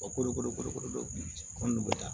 ko de ko kolo kolo ko ni bɛ taa